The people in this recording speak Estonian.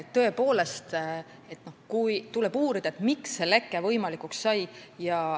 Tõepoolest tuleb uurida, miks see leke võimalikuks sai.